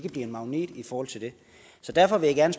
en magnet i forhold til det derfor vil jeg